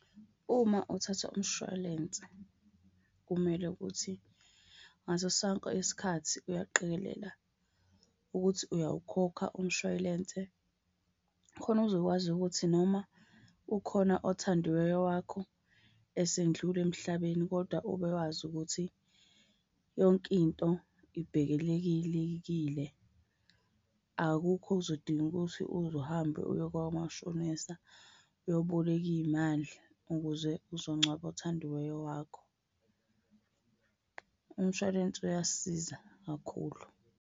Uma uthatha umshwalense kumele ukuthi ngaso sonke isikhathi uyaqikelela ukuthi uyawukhokha umshwayilense. Khona uzokwazi ukuthi noma ukhona othandiweyo wakho esendlula emhlabeni kodwa ube wazi ukuthi yonke into ibhekelekekile. Akukho okuzodinga ukuthi uze uhambe uye komashonisa uyoboleka iy'mali ukuze uzongcwaba othandiweyo wakho. Umshwalense uyasiza kakhulu.